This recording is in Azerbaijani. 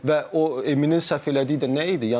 Və o Eminin səhv elədiyi də nə idi?